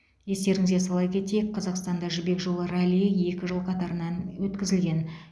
естеріңізге сала кетейік қазақстанда жібек жолы раллиі екі жыл қатарынан өткізілген